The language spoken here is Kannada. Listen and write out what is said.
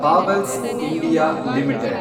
Havells India limited